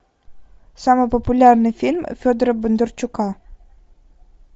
самый популярный фильм федора бондарчука